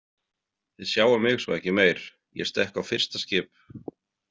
Þið sjáið mig svo ekki meir, ég stekk á fyrsta skip.